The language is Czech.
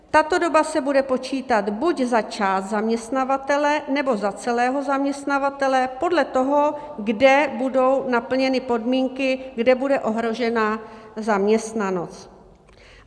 Tato doba se bude počítat buď za část zaměstnavatele, nebo za celého zaměstnavatele podle toho, kde budou naplněny podmínky, kde bude ohrožena zaměstnanost.